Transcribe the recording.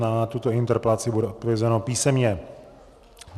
Na tuto interpelaci bude odpovězeno písemně.